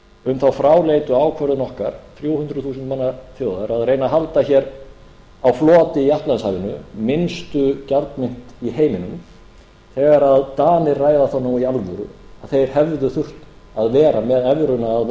um þá fráleitu ákvörðun okkar þrjú hundruð þúsund manna þjóðar að reyna að halda hér á floti í atlantshafinu minnstu gjaldmynt í heiminum þegar danir ræða það nú í alvöru að þeir hefðu þurft að vera með evruna að